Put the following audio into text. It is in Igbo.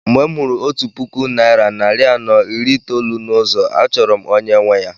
Mgbe m hụrụ otu puku naira narị anọ iri itoolu na ụzọ a chọrọ m onye nwe ya.